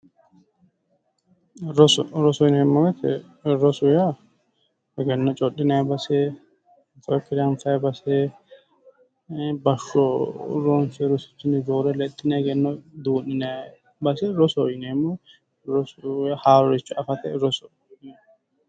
Roso, roso yinneemmo woyte roso yaa egenno codhinanni base haarore anfanni base basho ronsonni rosichinni roore egenno du'ninnanni base roso yinneemmo, rosoho yaa haaroricho afate